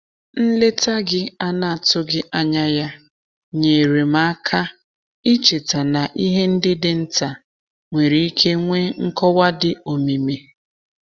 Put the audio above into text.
Nleta gị ana-atụghị anya ya nyeere m aka icheta na ihe ndi dị nta nwere ike nwee nkọwa di omimi.